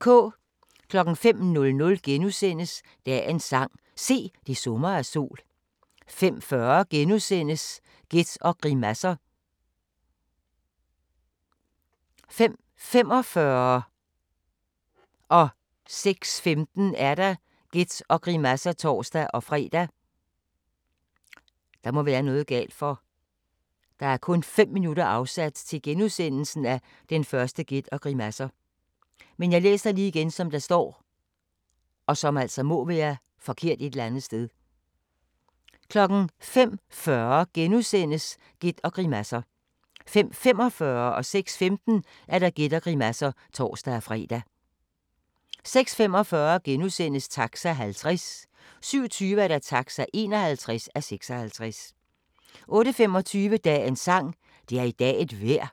05:00: Dagens sang: Se, det summer af sol * 05:40: Gæt og grimasser * 05:45: Gæt og grimasser (tor-fre) 06:15: Gæt og grimasser (tor-fre) 06:45: Taxa (50:56)* 07:25: Taxa (51:56) 08:25: Dagens sang: Det er i dag et vejr 08:45: